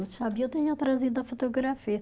Sabia, eu tinha trazido a fotografia.